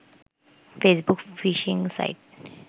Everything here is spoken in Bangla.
Facebook phishing site